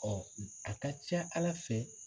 a ka ca Ala fɛ